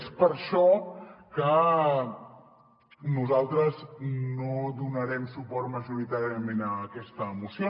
és per això que nosaltres no donarem suport majoritàriament a aquesta moció